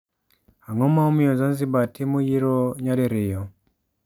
Ang'o ma omiyo Zanzibar timo yiero nyadi riyo?